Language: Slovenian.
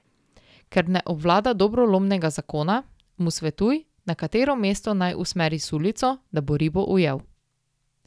Ker ne obvlada dobro lomnega zakona, mu svetuj, na katero mesto naj usmeri sulico, da bo ribo ujel.